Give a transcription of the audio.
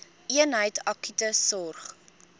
eenheid akute sorg